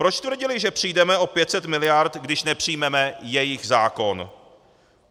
Proč tvrdili, že přijdeme o 500 miliard, když nepřijmeme jejich zákon?